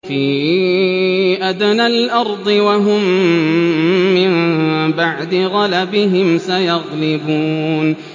فِي أَدْنَى الْأَرْضِ وَهُم مِّن بَعْدِ غَلَبِهِمْ سَيَغْلِبُونَ